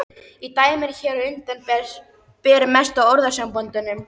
Í dæminu hér á undan ber mest á orðasamböndum.